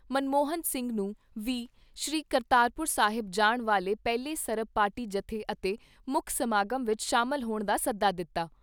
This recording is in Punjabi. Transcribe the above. ਮਨਮੋਹਨ ਸਿੰਘ ਨੂੰ ਵੀ ਸ੍ਰੀ ਕਰਤਾਰਪੁਰ ਸਾਹਿਬ ਜਾਣ ਵਾਲੇ ਪਹਿਲੇ ਸਰਬ ਪਾਰਟੀ ਜੱਥੇ ਅਤੇ ਮੁੱਖ ਸਮਾਗਮ ਵਿਚ ਸ਼ਾਮਲ ਹੋਣ ਦਾ ਸੱਦਾ ਦਿੱਤਾ।